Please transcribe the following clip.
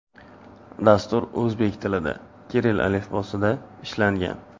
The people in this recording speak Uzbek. Dastur o‘zbek tilida, kirill alifbosida ishlangan.